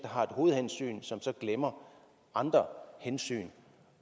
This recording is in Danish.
har et hovedhensyn som så glemmer andre hensyn